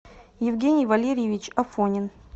евгений валерьевич афонин